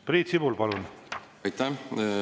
Priit Sibul, palun!